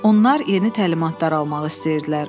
Onlar yeni təlimatlar almaq istəyirdilər.